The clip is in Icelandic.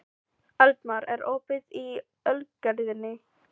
Eldmar, er opið í Ölgerðinni?